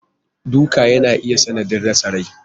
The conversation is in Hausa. Duka yana iya sanadin rasa Rai.